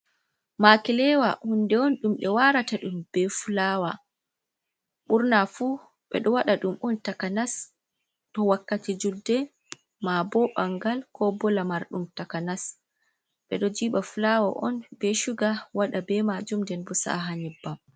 makilewa hunde on ɗum ɓe warata ɗum be fulawa. Ɓurna fu ɓeɗo wada dum on takanas to wakkati julde ma ko ɓangal kobo lamarɗum takanas ɓe ɗo jiba fulawa on be shuga wada be majum nden bo sa'a ha nyebbam.